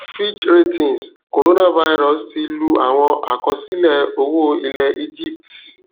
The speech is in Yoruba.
fitch ratings coronavirus ti lu àwọn àkọsílẹ owo ilẹ egypts